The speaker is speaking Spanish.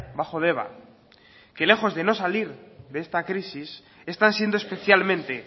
bajo deba que lejos de no salir de esta crisis están siendo especialmente